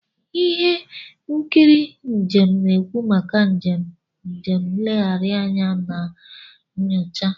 Ihe nkiri njem na-ekwu maka njem, njem nlegharị anya na nyocha.